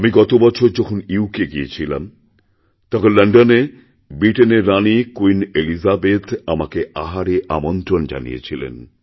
আমি গত বছর যখন ইউ কে গিয়েছিলাম তখন লণ্ডনে ব্রিটেনের রানি ক্যুইন এলিজাবেথ আমাকে আহারেআমন্ত্রণ জানিয়েছিলেন